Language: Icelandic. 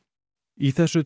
í þessu